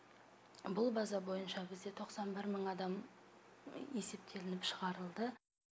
бұл база бойынша бізде тоқсан бір мың адам есептелініп шығарылды